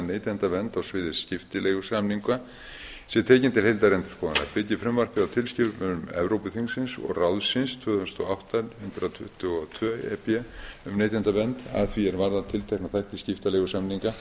neytendavernd á sviði skiptileigusamninga sé tekin til heildarendurskoðunar byggir frumvarpið á tilskipun evrópuþingsins og ráðsins tvö þúsund og átta hundrað tuttugu og tvö e b um neytendavernd að því er varðar tiltekna þætti skiptileigusamninga